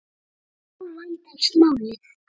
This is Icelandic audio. Þá vandast málið.